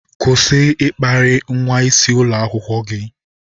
Kwụsị ịkparị nwa isi ulo akwukwo gi!